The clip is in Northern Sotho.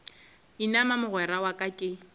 inama mogwera wa ka ke